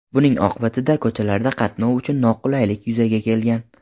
Buning oqibatida ko‘chalarda qatnov uchun noqulaylik yuzaga kelgan.